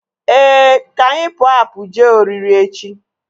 Ee, ka anyị pụọ apụ jee oriri echi